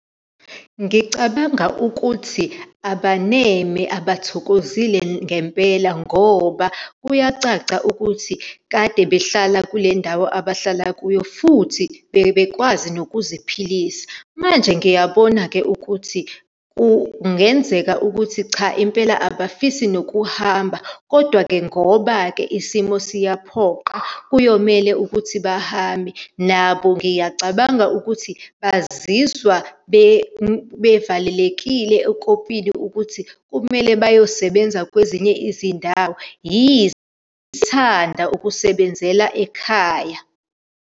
Ngicabanga ukuthi abaneme, abathokozile ngempela, ngoba kuyacaca ukuthi kade behlala kule ndawo abahlala kuyo futhi bebekwazi nokuziphilisa. Manje ngiyabona-ke ukuthi kungenzeka ukuthi cha impela abafisi nokuhamba, kodwa-ke ngoba isimo siyaphoqa, kuyomele ukuthi bahambe. Nabo, ngiyacabanga ukuthi bazizwa bevalelekile ekopini ukuthi kumele bayosebenza kwezinye izindawo yize ethanda ukusebenzela ekhaya.